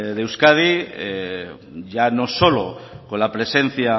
de euskadi ya no solo con la presencia